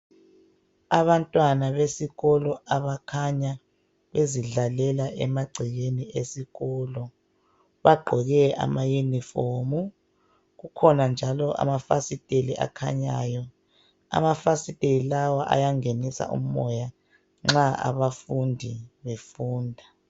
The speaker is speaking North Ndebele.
Abantwana besikolo abakhanya bezidlalela emagcekeni esikolo. Bagqoke amayunifomu. Kukhona njalo amafasiteli akhanyayo. Amafasiteli lawa ayangenisa umoya nxa abafundi befunda.